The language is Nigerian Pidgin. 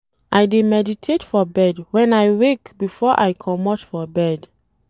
I dey meditate for bed wen I wake before I comot for bed.